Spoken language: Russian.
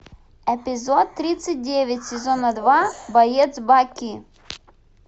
эпизод тридцать девять сезона два боец баки